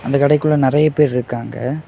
இந்த கடைக்குள்ள நெறய பேரு இருக்காங்க.